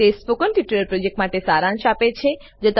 તે spoken tutorial પ્રોજેક્ટનો સારાંશ આપે છે